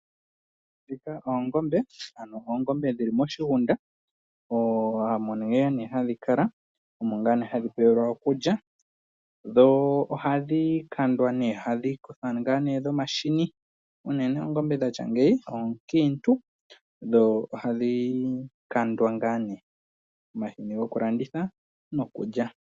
Mbika ano oongombe ano oongombe dhili moshigunda. Omo ngaa nee hadhi kala, omo ngaa nee hadhi pewa okulya. Dho ohadhi kandwa nee, ano ngaa nee dhomahini. Uunene oongombe dhatya ngeyi onkiintu dho ohadhi kandwa ngaa ne omahini goku landithwa nokulya.